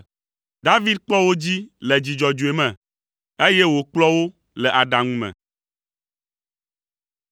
David kpɔ wo dzi le dzi dzɔdzɔe me, eye wòkplɔ wo le aɖaŋu me.